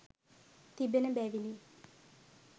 තිබෙන බැවිනි.